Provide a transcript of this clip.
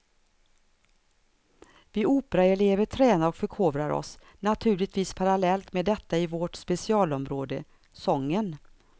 Vi operaelever tränar och förkovrar oss naturligtvis parallellt med detta i vårt specialområde, sången.